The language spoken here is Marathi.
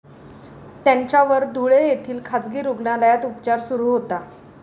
त्यांच्यावर धुळे येथील खाजगी रुग्णालयात उपचार सुरु होता.